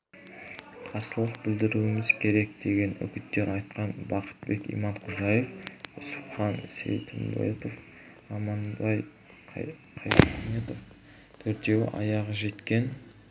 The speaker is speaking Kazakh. қарсылық білдіруіміз керек деген үгіттер айтқан бақтыбек иманқожаев үсіпхан сейтімбетов аманбай қайнетов төртеуі аяғы жеткен